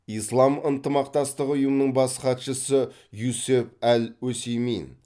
ислам ынтымақтастығы ұйымының бас хатшысы юсеф әл осеймин